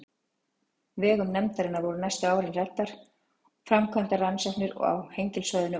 vegum nefndarinnar voru næstu árin ræddar og framkvæmdar rannsóknir á Hengilssvæðinu og í